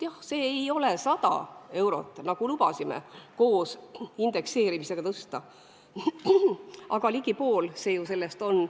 Jah, see ei ole 100 eurot, nagu me lubasime koos indekseerimisega tõsta, aga ligi pool see ju sellest on.